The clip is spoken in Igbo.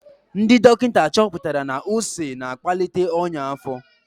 Ndị dọkịta chọpụtara na ose na-akpalite ọnya afo.